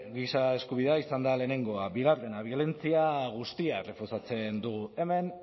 giza eskubidea izan da lehenengoa bigarrena biolentzia guztiak errefusatzen ditugu hemen